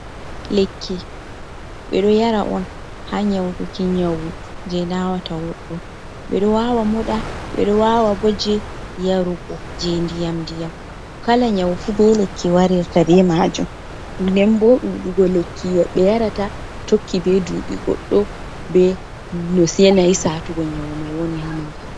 Lekki. Ɓe ɗo yara on ha nyauɗuki nyauu. je nawata woɓɓo. Ɓe ɗo wawa moɗa, ɓe ɗo wawa ɓo je yarugo, je nɗiyam nɗiyam. Kala nyaufu ɓe lekki warerta ɓe majum. Nɗen ɓo ɗuuɗugo lekki ɓe yarata, tokki ɓe ɗuɓi goɗɗo. be no senai satugo nyau mai woni ha mako.